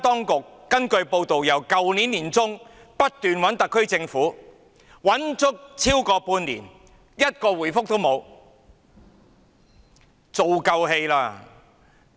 根據報道，台灣當局自去年年中開始聯絡特區政府，但後者超過半年完全沒有回覆。